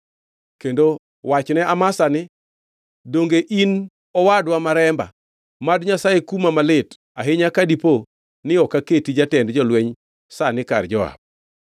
Kendo wachne Amasa ni, ‘Donge in wadwa ma remba? Mad Nyasaye kuma malit ahinya ka dipo ni ok aketi jatend jolweny sani kar Joab.’ ”